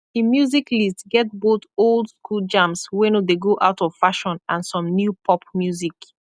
en musik list get both old skool jams wey nor dey go out of fashion and som new pop musik